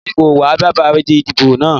Mi kò ní wá bébà ìdìbò náà